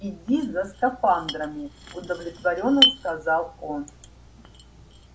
иди за скафандрами удовлетворённо сказал он